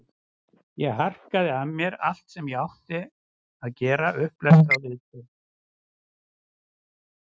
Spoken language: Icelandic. Ég harkaði af mér allt sem ég átti að gera, upplestra, viðtöl.